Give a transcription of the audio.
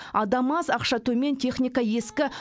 адам аз ақша төмен техника ескі